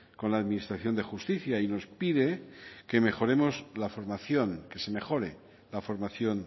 con la administración de justicia y nos pide que mejoremos la formación que se mejore la formación